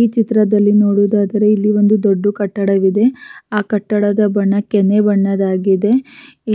ಈ ಚಿತ್ರದಲ್ಲಿ ನೋಡುವುದಾದರೆ ಇಲ್ಲಿ ಒಂದು ದೊಡ್ಡು ಕಟ್ಟಡವಿದೆ ಅಹ್ಹ ಕಟ್ಟಡದ ಬಣ್ಣ ಕೆನೆಯ ಬಣ್ಣದಾಗಿದೆ